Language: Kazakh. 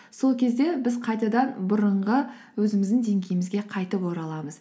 сол кезде біз қайтадан бұрынғы өзіміздің деңгейімізге қайтып ораламыз